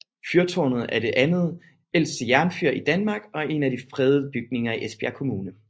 Fyrtårnet er det andet ældste jernfyr i Danmark og er en af de fredede bygninger i Esbjerg Kommune